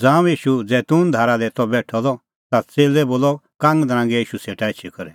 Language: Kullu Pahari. ज़ांऊं ईशू जैतून धारा दी त बेठअ द ता च़ेल्लै बोलअ कांगनरांगै ईशू सेटा एछी करै